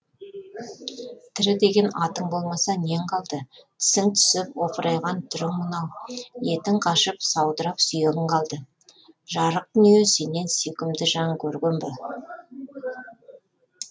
тірі деген атың болмаса нең қалды тісің түсіп опырайған түрін мынау етің қашып саудырап сүйегің қалды жарық дүние сенен сүйкімді жан көрген бе